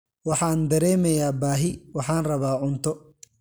Waxaan dareemayaa baahi, waxaan rabaa cunto.